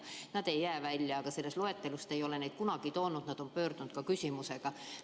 Sain teada, et nad ei jää välja, aga selles loetelus neid esile ei ole toodud ja nad on pöördunud küsimusega.